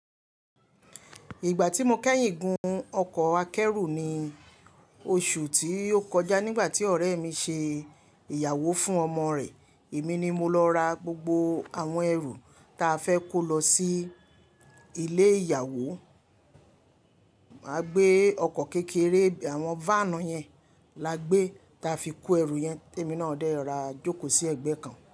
Ìgbà tí mo kẹ́yìn gun ọkọ̀ akẹ́rù ni oṣù tí yóò kọjá nígbà tí ọ̀rẹ́ mi ṣe ìyàwó fún ọmọ rẹ̀. Èmi ni mo lọ ra gbogbo àwọn ẹrù ta fẹ́ kó lọ sí ilé ìyàwó. Máa gbé ọkọ̀ kékeré, àwọn váànù yẹn la gbé ta fi kó ẹrù yẹn. Èmi náà dẹ́ra jókòó sí ẹgbẹ́ kan.